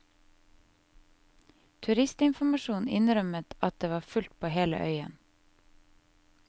Turistinformasjonen innrømmet at det var fullt på hele øyen.